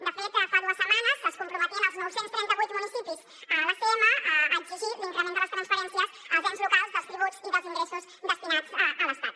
de fet fa dues setmanes es comprometien els nou cents i trenta vuit municipis a l’acm a exigir l’increment de les transferències als ens locals dels tributs i dels ingressos destinats a l’estat